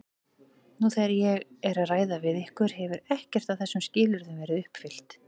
Nú þegar ég er að ræða við ykkur hefur ekkert af þessum skilyrðum verið uppfyllt.